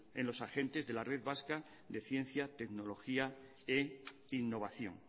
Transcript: en los agentes de la red vasca de ciencia tecnología e innovación